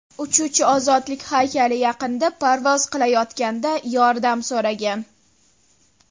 Uchuvchi Ozodlik haykali yaqinida parvoz qilayotganida yordam so‘ragan.